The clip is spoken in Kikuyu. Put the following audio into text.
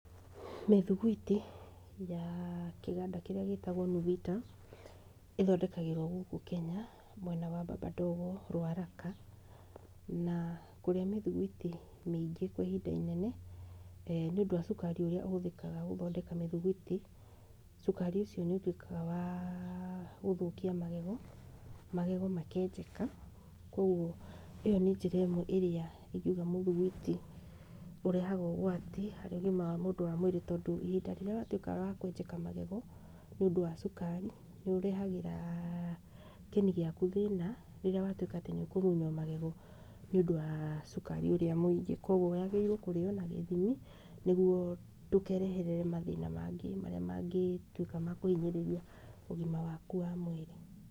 Mĩthiguiti ya kĩganda kĩrĩa gĩtagwo Nuvita ĩthondekagĩrwo gũkü Kenya mwena wa Baba Ndogo, Ruaraka. Na kũrĩa mĩthiguiti mĩingĩ kwa ihinda inene nĩ ũndũ wa cukari mũingĩ ũrĩa ũhũthĩkaga gũthondeka mĩthiguiti, cukari ũcio nĩ ũtuĩkaga wa gũthũkia magego, magego makenjeka. Kwoguo ĩyo nĩ njĩra ĩmwe ĩrĩa ingiuga atĩ mũthigwiti ũrehaga ũgwati harĩ ũgima wa mũndũ wa mwĩrĩ. Tondũ ihinda rĩrĩa watuĩka wa kwenjeka magego nĩ ũndũ wa cukari, nĩ ũrehagĩra kĩni giaku thĩna rĩrĩa watuĩka atĩ nĩ ũkũmunywo magego nĩ ũndũ wa cukari ũrĩa mũingĩ. Koguo yagĩrĩirwo kũrĩo na gĩthimi nĩguo ndũkereherere mathĩna mangĩ marĩa mangĩtuĩka ma kũhinyĩrĩria ũgima waku wa mwĩrĩ.